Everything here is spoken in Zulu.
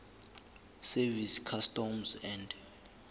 service customs and